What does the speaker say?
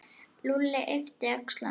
Lúlli yppti öxlum.